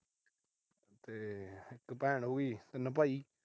ਤੇ ਇੱਕ ਭੈਣ ਹੋ ਗਈ, ਤਿੰਨ ਭਾਈ।